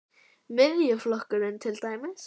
Miðjuflokkurinn til dæmis?